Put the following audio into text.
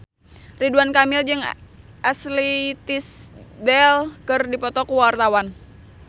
Ridwan Kamil jeung Ashley Tisdale keur dipoto ku wartawan